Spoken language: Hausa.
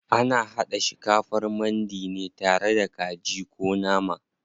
Ana haɗa shikafar mandi ne tare da kaji ko nama.